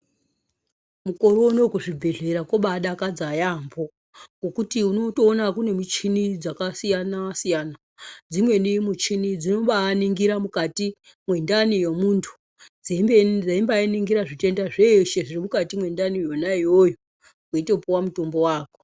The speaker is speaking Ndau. Mukore unowu kuzvibhedhlera kwobaadakadza yaampho ,ngokuti unotoona kune michini dzakasiyana-siyana. Dzimweni muchini dzinobaaningira mukati mwendani yemuntu, dzeimbaaningira zvitenda zveshe zviri mukati mwendani yona iyoyo, weitopuwa mutombo wako.